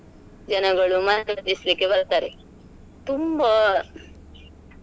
ಜನಗಳು ಮನರಂಜಿಸ್ಲಿಕ್ಕೆ ಬರ್ತಾರೆ ತುಂಬಾ.